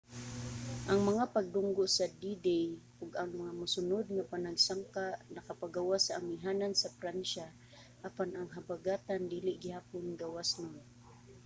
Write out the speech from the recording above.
ang mga pagdunggo sa d-day ug ang mga mosunud nga panagsangka nakapagawas sa amihanan sa pransya apan ang habagatan dili gihapon gawasnon